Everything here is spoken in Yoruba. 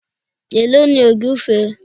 Èló ni ògúfe?